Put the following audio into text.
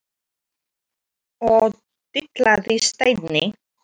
og dillaði Steini.